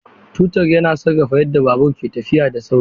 Totur yana sarrafa yadda babur ke tafiya da sauri.